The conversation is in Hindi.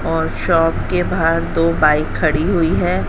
और शॉप के बाहर दो बाइक खड़ी हुई हैं।